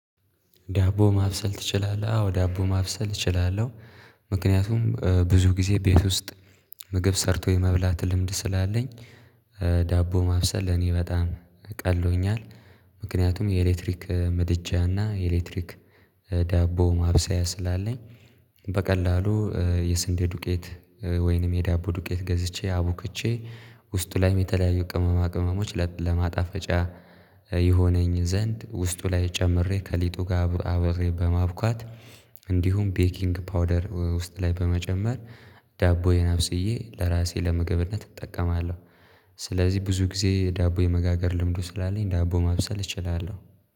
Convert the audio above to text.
ዳቦ ማብሰል ትችላለህ? አዎ ዳቦ ማብሰል እችላለሁ። ምክንያቱም ብዙ ጊዜ ቤት ውስጥ ምግብ ሰርቶ የመብላት ልምድ ስላለኝ ዳቦ ማብሰል ለኔ በጣም ቀሎኛል ምክንያቱም የኤሌክትሪክ ምድጃና የኤሌክትሪክ ዳቦ ማብሰያ ስላለኝ በቀላሉ የስንዴ ዱቄት ወይንም የዳቦ ዱቄት ገዝቼ አቡክቼ ውስጡ ላይም የተለያዩ ቅመማ ቅመሞች ለማጣፈጫ ይሆነኝ ዘንድ ውስጡ ላይ ጨምሬ ከሊጡ ጋር አብሬ በማብኳት እንዲሁም ቤኪንግ ፓውደር ውስጥ ላይ በመጨመር ዳቦዬን አብስዬ ለራሴ ለመግብነት እጠቀማለሁ። ስለዚህ ብዙ ጊዜ ዳቦ የመጋገር ልምዱ ስላለኝ ዳቦ ማብሰል እችላለሁ።